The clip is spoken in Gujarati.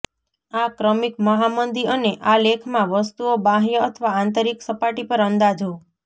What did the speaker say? આ ક્રમિક મહામંદી અને આ લેખમાં વસ્તુઓ બાહ્ય અથવા આંતરિક સપાટી પર અંદાજો